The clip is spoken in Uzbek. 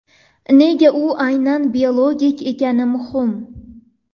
Nega u aynan biologik ekani muhim?